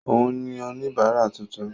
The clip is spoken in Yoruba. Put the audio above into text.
Òun ni oníbárà tuntun.